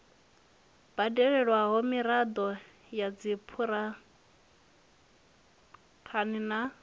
badelwaho miraḓo ya dzikhamphani na